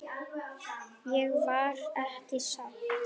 Ég var ekki sátt.